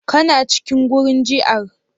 Kana cikin wurin jiar